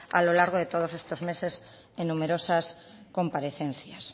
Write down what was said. a lo largo de todos estos meses en numerosas comparecencias